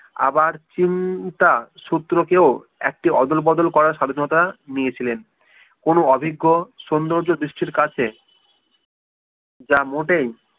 আবার চিন্তা শত্রুকেও একটি অদল বদল করার স্বাধীনতা নিয়েছিলেন কোনো অভিজ্ঞ সৌন্দর্য দৃষ্টির কাছে যা মোটেই